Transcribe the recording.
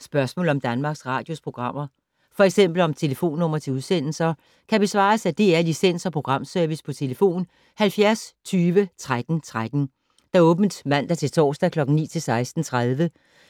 Spørgsmål om Danmarks Radios programmer, f.eks. om telefonnumre til udsendelser, kan besvares af DR Licens- og Programservice: tlf. 70 20 13 13, åbent mandag-torsdag 9.00-16.30,